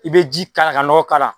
I bɛ ji k'a la ka nɔgɔ k'a la